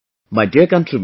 My dear countrymen,